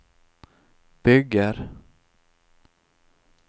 bygger